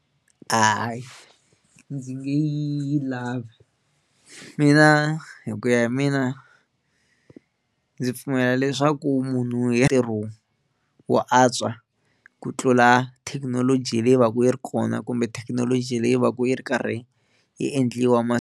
Hayi ndzi nge yi lavi mina hi ku ya hi mina ndzi pfumela leswaku munhu wo antswa ku tlula thekinoloji leyi va ka yi ri kona kumbe thekinoloji leyi va ka yi ri karhi yi endliwa ma .